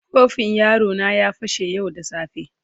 Kofin yaro na ya fashe yau da safe.